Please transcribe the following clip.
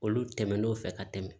Olu tɛmɛn'o fɛ ka tɛmɛ